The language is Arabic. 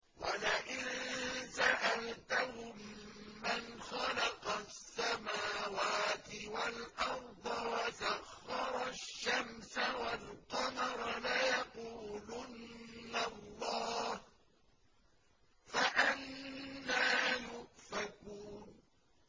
وَلَئِن سَأَلْتَهُم مَّنْ خَلَقَ السَّمَاوَاتِ وَالْأَرْضَ وَسَخَّرَ الشَّمْسَ وَالْقَمَرَ لَيَقُولُنَّ اللَّهُ ۖ فَأَنَّىٰ يُؤْفَكُونَ